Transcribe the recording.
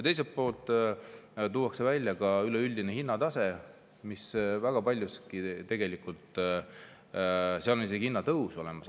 Teiselt poolt tuuakse välja ka üleüldine hinnatase ja tegelikult on seal väga paljuski hinnatõus isegi näha.